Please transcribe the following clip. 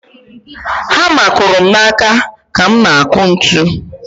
Hama kụrụ m n'aka ka m na-akụ ntu.